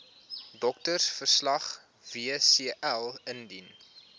doktersverslag wcl indien